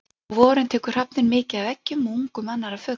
Á vorin tekur hrafninn mikið af eggjum og ungum annarra fugla.